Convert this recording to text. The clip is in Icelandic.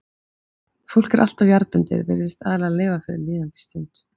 fólk er alltof jarðbundið, virðist aðallega lifa fyrir líðandi stund.